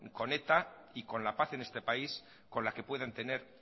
con eta y con la paz en este país con la que pueden tener